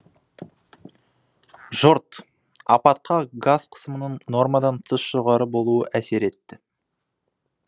жұрт апатқа газ қысымының нормадан тыс жоғары болуы әсер етті